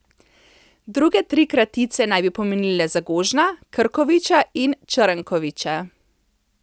Druge tri kratice naj bi pomenile Zagožna, Krkoviča in Črnkoviča.